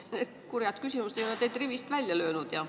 Need kurjad küsimused ei ole teid rivist välja löönud.